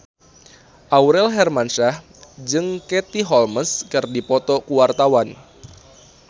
Aurel Hermansyah jeung Katie Holmes keur dipoto ku wartawan